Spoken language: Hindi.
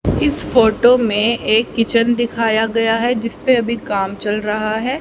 इस फोटो में एक किचन दिखाया गया है जिस पे अभी काम चल रहा है।